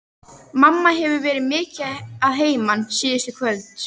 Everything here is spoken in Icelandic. Mamma hefur verið mikið að heiman síðustu kvöld.